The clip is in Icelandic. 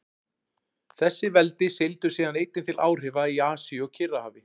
Þessi veldi seildust síðan einnig til áhrifa í Asíu og Kyrrahafi.